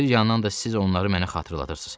Bir yandan da siz onları mənə xatırladırsız.